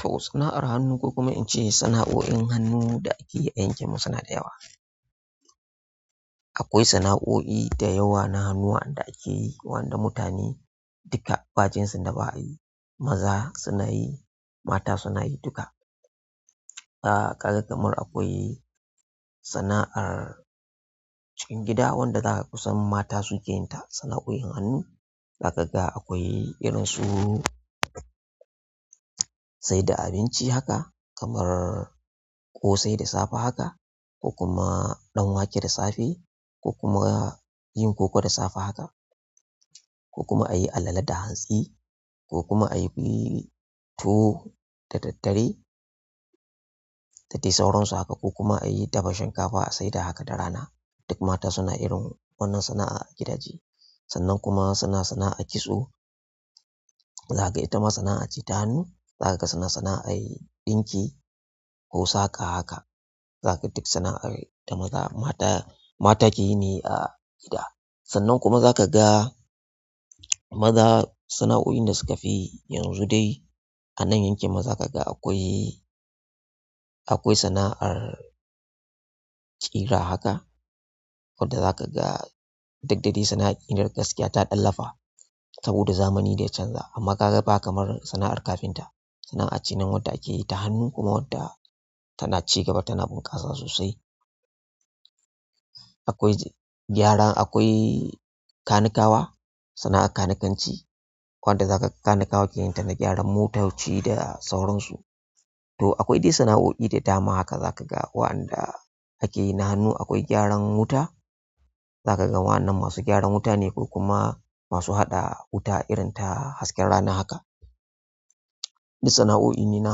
To sana'ar hannu ko kuma in ce sana'o'in hannu da ake yi a yankin mu suna da yawa. Akwai sana'o'i da yawa na hannu wanda ake yi, wanda mutane duka bakinsu da ba'i, maza suna yi, mata suna yi duka. Amma kaga akwai kamar sana'ar cikin gida, wanda dama kusan mata su suke yin ta, sana'o'in hannu. Za kaga akwai irin su sai da abinci haka kamar ƙosai da safe haka ko kuma ɗanwake da safe ko kuma yin koko da safe haka ko kuma ayi alale da hantsi, ko kuma ayi tuwo da daddare, da dai sauransu haka, ko kuma ayi, dafa shinkafa a sai da haka da rana. Duk mata suna irin wannan sana'a a gidaje. Sannan kuma suna sana'ar kitso. Za ka ga ita ma sana'a ce ta hannu. Za ka ga suna sana'ar ɗinki ko saƙa haka. Zaka duk sana'ar mata ke yi ne a gida sannan kuma zaka ga maza sana'o'in da suka fi yi yanzu dai a nan yankin mu zaka ga akwai, akwai sana'ar ƙira haka wadda za ka ga, duk da dai sana'ar ƙiran gaskiya ta ɗan lafa saboda zamani da ya canza. Amma ka ga ba kamar sana'ar kafinta. Sana'a ce nan wadda ake yi ta hannu kuma wadda tana cigaba tana bunƙasa sosai. Akwai gyaran akwai kanikawa, sana'ar kanikanci. Wadda za ka ga kanikawa ke yin ta na gyaran motoci da sauransu. To akwai dai sana'o'i da dama haka za ka ga waɗanda ake yi na hannu. Akwai gyaran wuta. Za ka ga waɗannan masu gyaran wuta ne ko kuma masu haɗa wuta irin ta hasken rana haka. Di sana'o'i ne na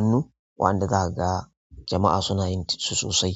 hannu waɗanda za ka ga jama'a suna yin su sosai.